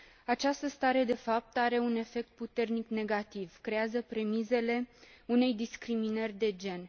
Această stare de fapt are un efect puternic negativ creează premisele unei discriminări de gen.